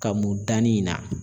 Ka mun danni in na